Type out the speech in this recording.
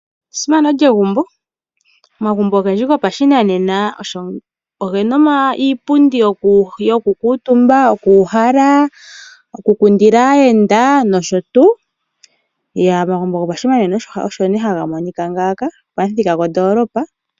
Omagumbo ogendji gopashinanena ogena iipundi yoku kuutumba, yokuuhala, yoku kundila aayenda. Omagumbo gopashinanena osho ha ga Monika ngaaka pamuthika gwo ndoolopa.